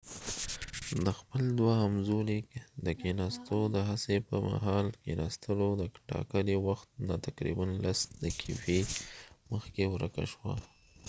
د خپل دوهم ځلی د کېناستو د هڅی په مهال د کېناستلو د ټاکلی وخت نه تقریبا لس دقیفی مخکې ورکه شوه